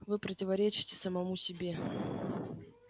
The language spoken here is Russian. вы противоречите самому себе